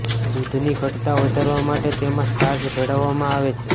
દૂધની ઘટ્ટતા વધારવા માટે તેમાં સ્ટાર્ચ ભેળવવામાં આવે છે